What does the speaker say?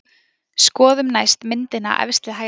Skoðum næst myndina efst til hægri.